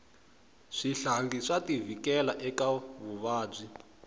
switlangi swa ti vhikela eka vuvabyi